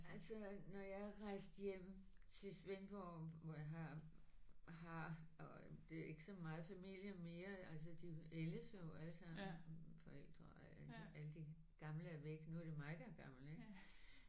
Altså når jeg er rejst hjem til Svendborg hvor jeg har har og det er ikke så meget familie mere altså de ældes jo alle sammen. Forældre og alle de gamle er væk. Nu er det mig der er gammel ikk